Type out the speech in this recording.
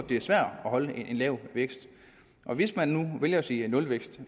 det er svært at holde en lav vækst hvis man nu vælger at sige nulvækst